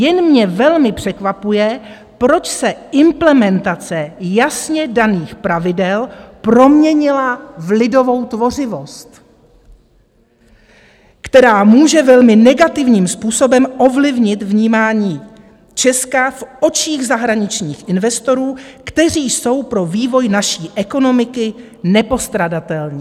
Jen mě velmi překvapuje, proč se implementace jasně daných pravidel proměnila v lidovou tvořivost, která může velmi negativním způsobem ovlivnit vnímání Česka v očích zahraničních investorů, kteří jsou pro vývoj naší ekonomiky nepostradatelní."